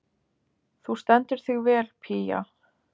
Þú stendur þig vel, Pía!